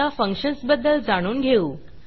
आता फंक्शन्सबद्दल जाणून घेऊ